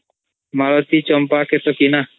ମାଲତୀଚମ୍ପାକେତକୀ ନା